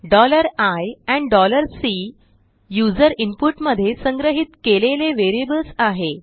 i and C user input मध्ये संग्रहीत केलेले वेरियबल्स आहे